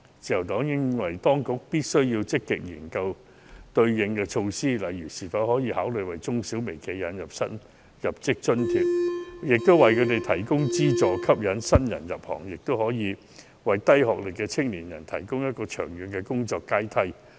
自由黨認為當局必須積極研究對策，例如可否考慮為中小微企引入新入職津貼，為他們提供資助，吸引新人入行，亦可以為低學歷的青年人提供長遠的工作階梯。